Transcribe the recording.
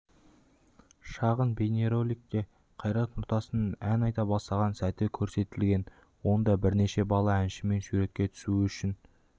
шағын бейнероликте қайрат нұртастың ән айта бастаған сәті көрсетілген онда бірнеше бала әншімен суретке түсу үшін